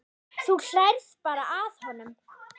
Þú hlærð bara að honum.